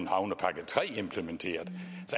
havnepakke iii implementeret